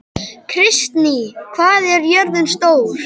Kristný, hvað er jörðin stór?